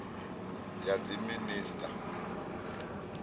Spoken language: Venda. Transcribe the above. ya dziminis a u ta